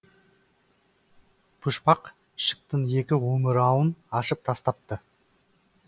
пұшпақ ішіктің екі омырауын ашып тастапты